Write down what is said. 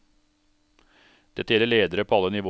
Dette gjelder ledere på alle nivåer.